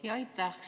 Aitäh!